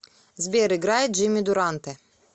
сбер играй джимми дуранте